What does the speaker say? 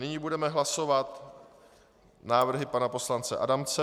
Nyní budeme hlasovat návrhy pana poslance Adamce.